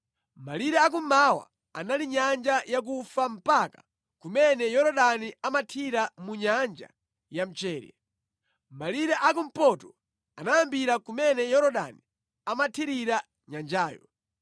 Malire a kummawa anali Nyanja Yakufa mpaka kumene Yorodani amathira mu Nyanja ya Mchere. Malire a kumpoto anayambira kumene Yorodani amathirira nyanjayo,